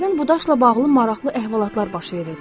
Hərdən bu daşla bağlı maraqlı əhvalatlar baş verirdi.